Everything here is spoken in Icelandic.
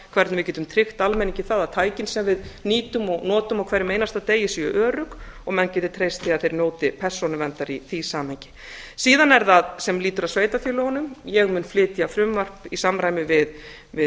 hvernig við getum tryggt almenningi það að tækin sem við nýtum og notum á hverjum einasta degi séu örugg og menn geti treyst því að þeir njóti persónuverndar í því samhengi síðan er það sem lýtur að sveitarfélögunum ég mun flytja frumvarp í samræmi við